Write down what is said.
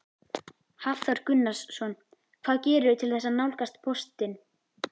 Hafþór Gunnarsson: Hvað gerirðu til þess að nálgast póstinn?